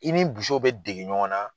I ni bɛ dege ɲɔgɔn na,